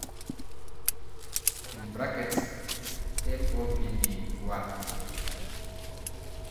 (MOPD1)?